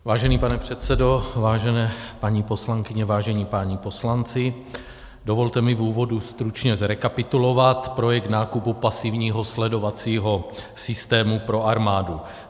Vážený pane předsedo, vážené paní poslankyně, vážení páni poslanci, dovolte mi v úvodu stručně zrekapitulovat projekt nákupu pasivního sledovacího systému pro armádu.